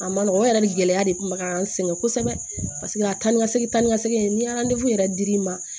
A ma nɔgɔ o yɛrɛ de gɛlɛya de kun bɛ ka n sɛgɛn kosɛbɛ paseke a ta ni ka segin ta ni ka segin ni yɛrɛ dir'i ma